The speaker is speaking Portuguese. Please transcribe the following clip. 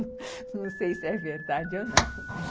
Não sei se é verdade ou não.